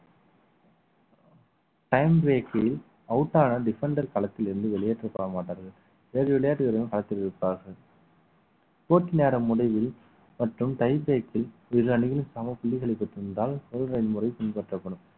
time way க்கு out ஆன defender களத்தில் இருந்து வெளியேற்றப்பட மாட்டார்கள் வேறு விளையாட்டு வீரர்கள் காத்திருப்பார்கள் போட்டி நேரம் முடிவில் மற்றும் tie break ல் இரு அணியில் சம புள்ளிகளை பெற்றிருந்தால் முறை பின்பற்றப்படும்